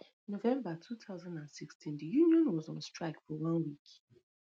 november two thousand and sixteen di union was on strike for one week